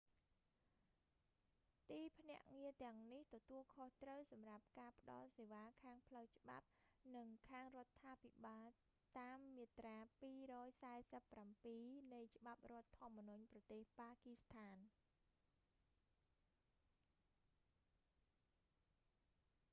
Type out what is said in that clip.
ទីភ្នាក់ងារទាំងនេះទទួលខុសត្រូវសម្រាប់ការផ្តល់សេវាខាងផ្លូវច្បាប់ និងខាងរដ្ឋាភិបាលតាមមាត្រា 247 នៃច្បាប់រដ្ឋធម្មនុញ្ញប្រទេស ប៉ាគីស្ថាន